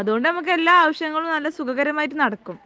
അതുകൊണ്ട് നമുക്ക് എല്ലാ ആവശ്യങ്ങളും സുഖകരമായിട്ട് നടക്കും